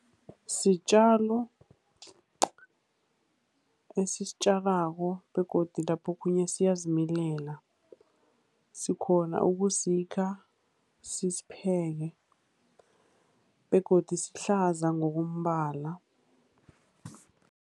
Sitjalo esisitjalako, begodu lapho okhunye siyazimilela. Sikghona ukusikha, sisipheke, begodu sihlaza ngokombala.